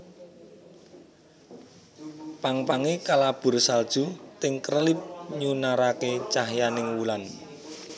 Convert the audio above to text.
Pang pange kalabur salju ting krelip nyunarake cahyaning wulan